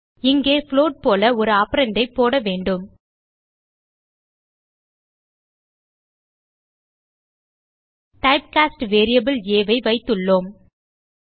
இங்கே புளோட் போல ஒரு ஆப்பரண்ட் ஐ போட வேண்டும் type காஸ்ட் வேரியபிள் ஆ ஐ வைத்துள்ளோம்